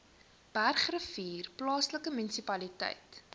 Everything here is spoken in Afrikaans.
bergrivier plaaslike munisipaliteit